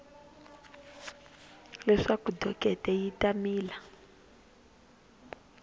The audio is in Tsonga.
leswaku dokete yi ta mila